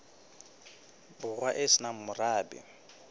borwa e se nang morabe